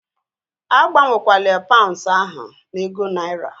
Agbanwekwala paunds ahu na ego naira!